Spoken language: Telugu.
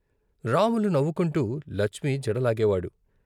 రాములు నవ్వుకుంటూ లచ్మి జడ లాగేవాడు.